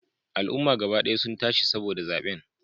Al'umma gaba daya sun tashi saboda zaben